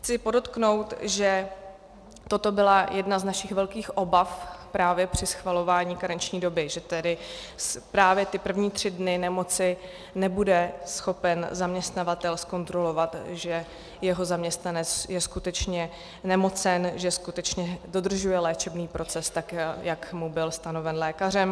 Chci podotknout, že toto byla jedna z našich velkých obav právě při schvalování karenční doby, že tedy právě ty první tři dny nemoci nebude schopen zaměstnavatel zkontrolovat, že jeho zaměstnanec je skutečně nemocen, že skutečně dodržuje léčebný proces tak, jak mu byl stanoven lékařem.